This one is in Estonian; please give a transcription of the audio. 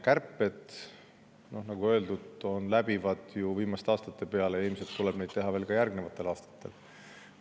Kärped, nagu öeldud, on olnud viimastel aastatel läbivad ja ilmselt tuleb neid teha ka järgnevatel aastatel.